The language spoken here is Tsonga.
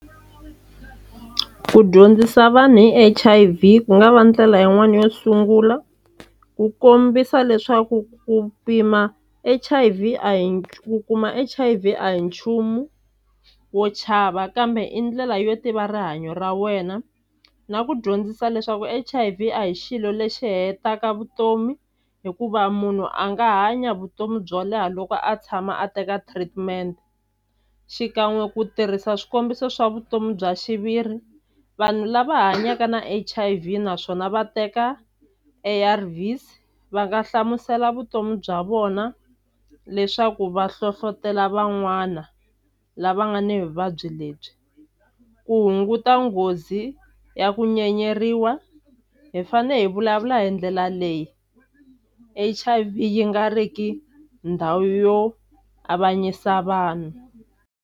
Ku dyondzisa vanhu hi H_I_V ku nga va ndlela yin'wani yo tshungula ku kombisa leswaku ku pima H_I_V a hi ku kuma H_I_V a hi nchumu wo chava kambe i ndlela yo tiva rihanyo ra wena na ku dyondzisa leswaku H_I_V a hi xilo lexi hetaka vutomi hikuva munhu a nga hanya vutomi byo leha loko a tshama a teka treatment xikan'we ku tirhisa swikombiso swa vutomi bya xiviri vanhu lava hanyaka na H_I_V naswona va teka ARV's va nga hlamusela vutomi bya vona leswaku va hlohlotelo van'wana lava nga ni vuvabyi lebyi ku hunguta nghozi ya ku nyenyeriwa hi fane hi vulavula hi ndlela leyi H_I_V yi nga riki ndhawu yo avanyisa vanhu.